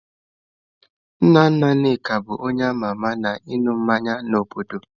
Nna nna Nneka bu onye ama ama na ịṅụ mmanya n'obodo.